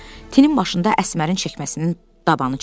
birdən tinin başında Əsmərin çəkməsinin dabanı çıxdı.